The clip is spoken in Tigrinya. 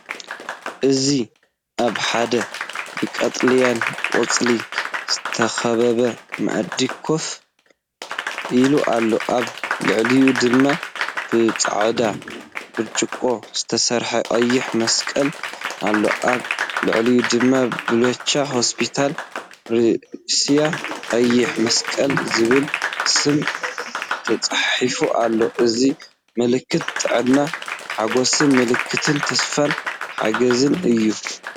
እዚ ኣብ ሓደ ብቀጠልያ ቆጽሊ ዝተኸበበ ማዕጾ ኮፍ ኢሉ ኣሎ፣ ኣብ ልዕሊኡ ድማ ብጻዕዳ ብርጭቆ ዝተሰርሐ ቀይሕ መስቀል ኣሎ። ኣብ ልዕሊኡ ድማ ‘ባልቻ ሆስፒታል ሩስያ ቀይሕ መስቀል’ ዝብል ስም ተጻሒፉ ኣሎ። እዚ ምልክት ጥዕናን ሓገዝን፡ምልክት ተስፋን ሓገዝን'ዩ።